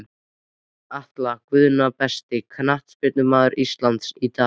Atla Guðna Besti knattspyrnumaður Íslands í dag?